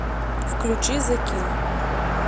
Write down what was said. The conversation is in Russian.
включи зе килл